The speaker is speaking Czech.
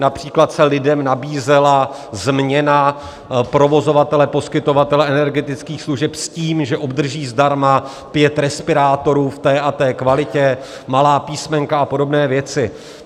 Například se lidem nabízela změna provozovatele, poskytovatele, energetických služeb s tím, že obdrží zdarma pět respirátorů v té a té kvalitě, malá písmenka a podobné věci.